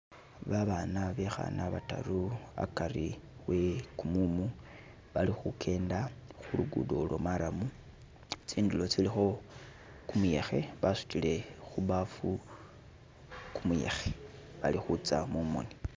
Babaana bekhana bataru akari we kumumu bali khukenda khulugudo lwo marrum, tsindulo tsilikho kumuyekhe basutile khu baafu kumuyekhe balikhutsa mumoni.